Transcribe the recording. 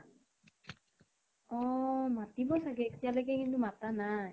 অ । মাতিব চাগে । এতিয়ালৈকে কিন্তু মাতা নাই